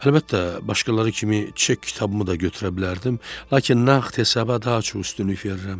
Əlbəttə, başqaları kimi çek kitabımı da götürə bilərdim, lakin nağd hesaba daha çox üstünlük verirəm.